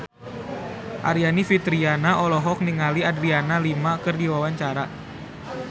Aryani Fitriana olohok ningali Adriana Lima keur diwawancara